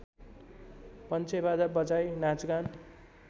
पन्चेबाजा बजाई नाचगान